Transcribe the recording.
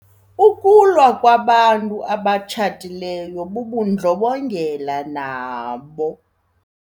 Ukulwa kwabantu abatshatileyo bubundlobongela nabo.